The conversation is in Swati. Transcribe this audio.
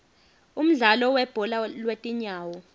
umdlalo webhola lwetinyawo